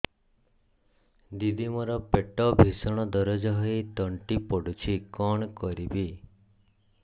ଦିଦି ମୋର ପେଟ ଭୀଷଣ ଦରଜ ହୋଇ ତଣ୍ଟି ପୋଡୁଛି କଣ କରିବି